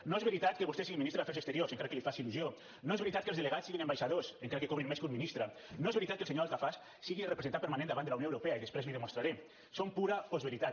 no és veritat que vostè sigui ministre d’afers exteriors encara que li faci il·lusió no és veritat que els delegats siguin ambaixadors encara que cobrin més que un ministre no és veritat que el senyor altafaj sigui representant permanent davant de la unió europea i després l’hi demostraré són pura postveritat